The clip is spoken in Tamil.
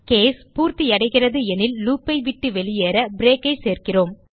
கேஸ் பூர்த்தியடைகிறது எனில் லூப் ஐ விட்டு வெளியேற பிரேக் ஐ சேர்க்கிறோம்